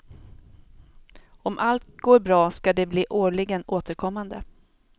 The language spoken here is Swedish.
Om allt går bra ska de bli årligen återkommande.